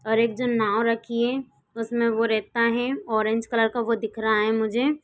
और एक जन नावं रखी है उसमें वो रहता है ऑरेंज कलर का वो दिख रहा मुझे।